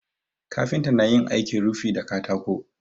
Kafinta na yin aikin rufi da katako.